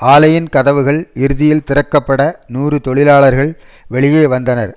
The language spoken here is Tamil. ஆலையின் கதவுகள் இறுதியில் திறக்கப்பட நூறு தொழிலாளர்கள் வெளியே வந்தனர்